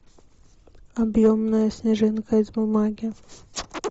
объемная снежинка из бумаги